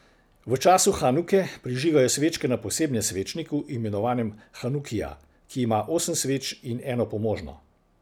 V času hanuke prižigajo svečke na posebnem svečniku, imenovanem hanukija, ki ima osem sveč in eno pomožno.